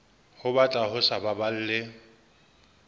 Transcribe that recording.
ho batla ho sa baballe